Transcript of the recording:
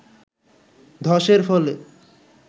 ধসের ফলে